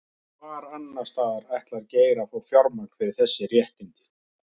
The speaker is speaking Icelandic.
Hvar annarsstaðar ætlar Geir að fá fjármagn fyrir þessi réttindi?